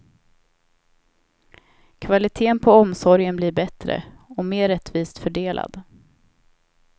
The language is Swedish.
Kvaliteten på omsorgen blir bättre och mer rättvist fördelad.